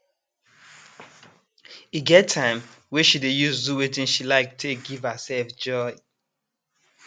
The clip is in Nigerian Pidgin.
e get time wey she dey use do wetin she like take give herself joy